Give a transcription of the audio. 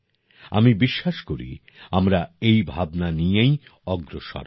আমি বিশ্বাস করি আমরা এই ভাবনা নিয়েই অগ্রসর হব